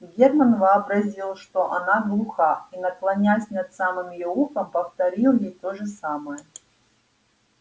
германн вообразил что она глуха и наклонясь над самым её ухом повторил ей то же самое